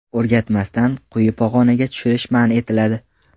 O‘rgatmasdan quyi pog‘onaga tushirish man etiladi.